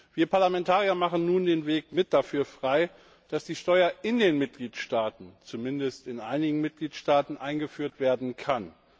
Wir Parlamentarier machen nun den Weg dafür frei, dass die Steuer in den Mitgliedstaaten zumindest in einigen Mitgliedstaaten eingeführt werden kann.